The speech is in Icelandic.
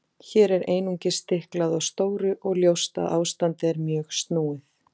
Hér er einungis stiklað á stóru og ljóst að ástandið er mjög snúið.